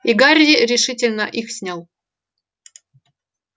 и гарри решительно их снял